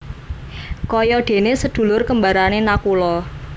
Kaya déné sedulur kembaré Nakula